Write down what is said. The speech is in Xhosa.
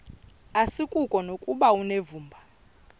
asikuko nokuba unevumba